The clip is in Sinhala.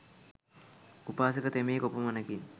උපාසක තෙමේ කොපමණකින්